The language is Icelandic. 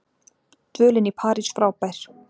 Dvölin í París frábær